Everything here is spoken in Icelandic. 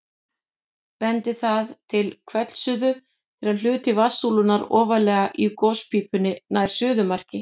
Bendir það til hvellsuðu þegar hluti vatnssúlunnar ofarlega í gospípunni nær suðumarki.